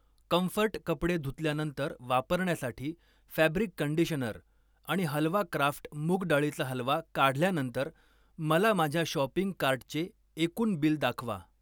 Comfort कपडे धुतल्यानंतर वापरण्यासाठी फॅब्रिक कंडिशनर आणि हलवा क्राफ्ट मूग डाळीचा हलवा काढल्यानंतर मला माझ्या शॉपिंग कार्टचे एकूण बिल दाखवा.